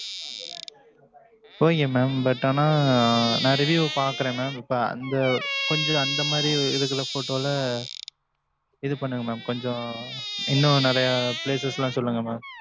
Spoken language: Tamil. ok mam. But ஆனா, நான் review பாக்குறேன் mam இப்ப அந்த, கொஞ்சம், அந்த மாரி, இருக்குற photo ல, இது பண்ணுங்க mam கொஞ்சம், இன்னும் நிறைய, places லாம் சொல்லுங்க mam.